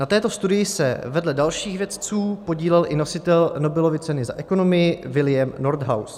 Na této studii se vedle dalších vědců podílel i nositel Nobelovy ceny za ekonomii William Nordhaus.